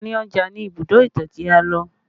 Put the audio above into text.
Àárín ọjà ni Ibùdó ìtàn tí a lò